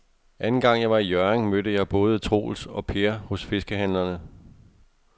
Anden gang jeg var i Hjørring, mødte jeg både Troels og Per hos fiskehandlerne.